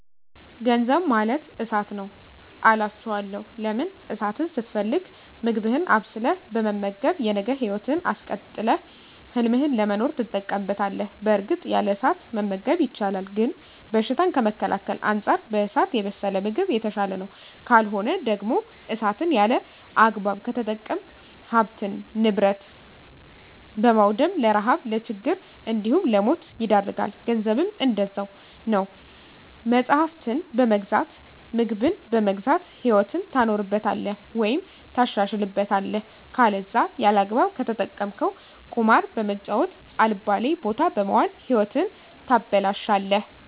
ገንዘብ ማለት እሳት ነዉ አላቸዋለሁ። ለምን እሳትን ስትፈልግ ምግብህን አብስለህ በመመገብ የነገ ህይወትህን አስቀጥለህ ህልምህን ለመኖር ትጠቀምበታለህ በእርግጥ ያለ እሳት መመገብ ይቻላል ግን በሽታን ከመከላከል አንፃር በእሳት የበሰለ ምግብ የተሻለ ነዉ። ካልሆነ ደግሞ እሳትን ያለአግባብ ከተጠቀምክ ሀብትን ንብረት በማዉደም ለረሀብ ለችግር እንዲሁም ለሞት ይዳርጋል። ገንዘብም እንደዛዉ ነዉ መፅሀፍትን በመግዛት ምግብን በመግዛት ህይወትህን ታኖርበታለህ ወይም ታሻሽልበታለህ ከለዛ ያለአግባብ ከተጠቀምከዉ ቁማር በመጫወት አልባሌ ቦታ በመዋል ህይወትህን ታበላሸለህ።